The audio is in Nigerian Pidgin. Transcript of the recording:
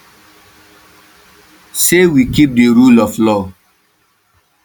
say we keep di rule of law